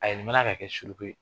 A yɛlɛma na ka kɛ suruku ye!